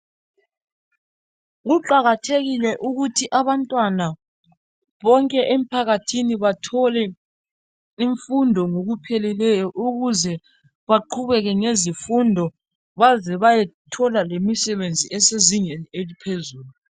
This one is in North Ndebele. kuqakathekile ukuthi abantwana bonke emphakathini bathole imfundo ngokupheleleyo ukuze baqhubeke ngezifundo baze bayethola lemisebenzi ezingeni eliphezulu